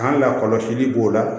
K'an lakɔlɔsili b'o la